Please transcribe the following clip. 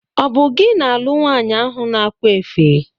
Ọ bụ gị na-alụụ nwanyị ahu n' akwa efe?